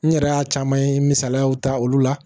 N yɛrɛ y'a caman ye misaliyaw ta olu la